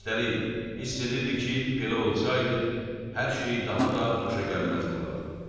Üstəlik, hiss edirdi ki, belə olsaydı, hər şey daha da xoşagəlməz olardı.